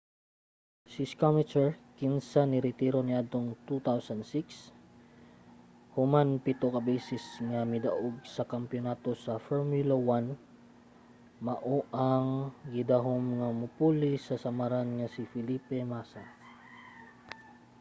si schumacher kinsa niretiro niadtong 2006 human pito ka beses nga midaog sa kampiyonato sa formula 1 mao ang gidahom nga mopuli sa samaran nga si felipe massa